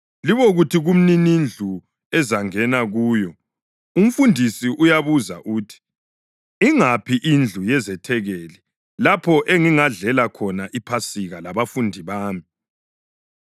Libokuthi kumninindlu ezangena kuyo, ‘UMfundisi uyabuza uthi: Ingaphi indlu yezethekeli lapho engingadlela khona iPhasika labafundi bami?’